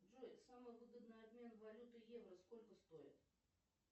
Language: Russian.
джой самый выгодный обмен валюты евро сколько стоит